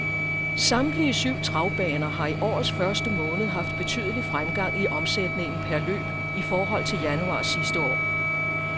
Samtlige syv travbaner har i årets første måned haft betydelig fremgang i omsætningen per løb i forhold til januar sidste år.